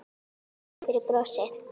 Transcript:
Takk fyrir brosið.